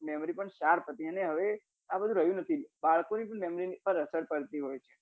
memory sharp હતી અને હવે આ બધું રહ્યું નથી બાળકો ની memory પર અસર કરતી હોય છે